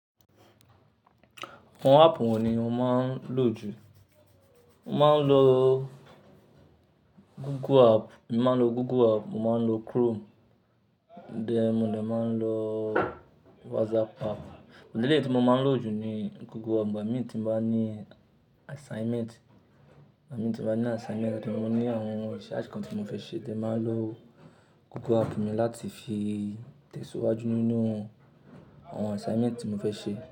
Àwọn app wo ni o máa ń lò jù? Mo máa ń lo Google app, mo máa ń lo Chrome, then mó dà máa ń lo WhatsApp app. Àmọ́ eléyìí tí mo máa ń lò jù ni Google app. Ìgbà mí tí mo bá ní assignment, ìgbà mí tí mo bá ní assignment tọ̀ pé mo ní àwọn research kan tí mo fẹ́ ṣe, then màá lo Google app mi láti fi tẹ̀síwájú nínú àwọn assignment tí mo fẹ́ ṣe.